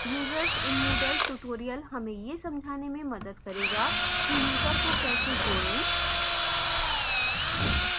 users in moodle tutorial हमें यह समझाने में मदद करेगा कि user को कैसे जोड़े